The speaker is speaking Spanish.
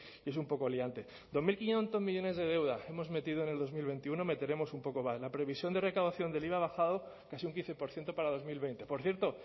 y es un poco liante dos mil quinientos millónes de deuda hemos metido en dos mil veintiuno meteremos un poco la previsión de recaudación del iva ha bajado casi un quince por ciento para dos mil veinte por cierto